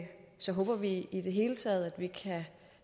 så håber vi i det hele taget at vi kan